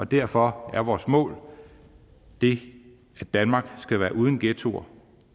derfor er vores mål det at danmark skal være uden ghettoer